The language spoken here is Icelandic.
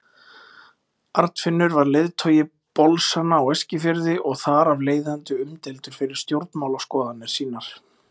Arnfinnur var leiðtogi bolsanna á Eskifirði og þar af leiðandi umdeildur fyrir stjórnmálaskoðanir sínar.